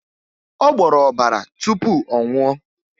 Ọ gboro ọbara tupu ọ nwuo